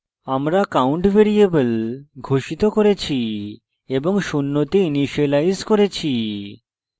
আমরা count variable ঘোষিত করেছি এবং শূন্যতে ইনিসিয়েলাইজ করেছি